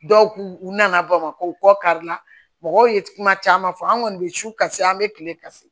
Dɔw k'u u nana bamakɔ u kɔ karila mɔgɔw ye kuma caman fɔ an kɔni bɛ su kase an bɛ kile ka se